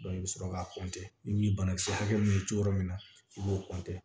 i bɛ sɔrɔ k'a i b'i banakisɛ hakɛ min to yɔrɔ min na i b'o